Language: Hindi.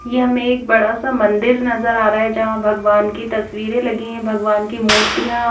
ये हमे एक बड़ा सा मंदिर नज़र आरहा है जहा भगवान की तस्वीरें लगे है भगवान् की मुर्तिया--